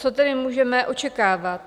Co tedy můžeme očekávat?